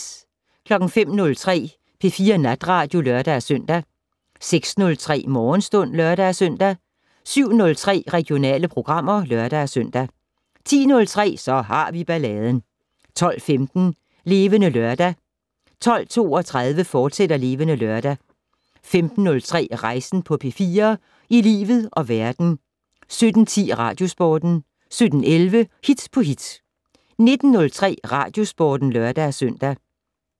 05:03: P4 Natradio (lør-søn) 06:03: Morgenstund (lør-søn) 07:03: Regionale programmer (lør-søn) 10:03: Så har vi balladen 12:15: Levende Lørdag 12:32: Levende Lørdag, fortsat 15:03: Rejsen på P4 - i livet og verden 17:10: Radiosporten 17:11: Hit på hit 19:03: Radiosporten (lør-søn)